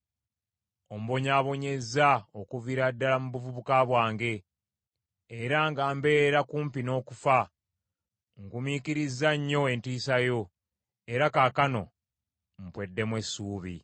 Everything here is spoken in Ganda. Ombonyaabonyezza okuviira ddala mu buvubuka bwange, era nga mbeera kumpi n’okufa; ngumiikirizza nnyo entiisa yo, era kaakano mpweddemu essuubi.